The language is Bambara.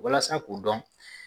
Walasa k'o dɔn